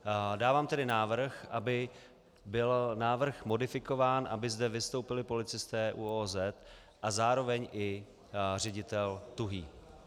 Dávám tedy návrh, aby byl návrh modifikován, aby zde vystoupili policisté ÚOOZ a zároveň i ředitel Tuhý.